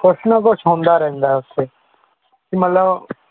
ਕੁਛ ਨਾ ਕੁਛ ਹੁੰਦਾ ਰਹਿੰਦਾ ਹੈ ਉੱਥੇ ਕੀ ਮਤਲਬ